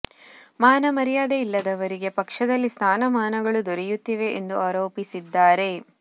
ಮಾನ ಮರ್ಯಾದೆ ಇಲ್ಲದವರಿಗೆ ಪಕ್ಷದಲ್ಲಿ ಸ್ಥಾನ ಮಾನಗಳು ದೊರೆಯುತ್ತಿವೆ ಎಂದು ಆರೋಪಿಸಿದ್ದಾರೆ